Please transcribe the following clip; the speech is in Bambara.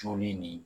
Joli nin